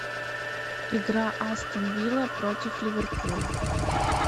игра астон вилла против ливерпуля